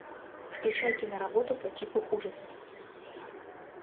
включай киноработу по типу ужасов